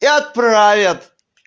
и отправят